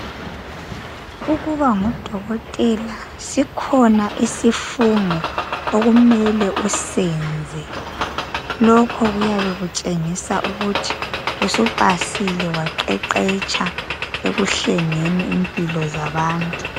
Ukuba ngudokotela kuhambalesifungo okumele usenze. Lokho kuyabe kutshengisa ukuthi usupasile waqeqetsha ekuhlengeni impilo zabantu.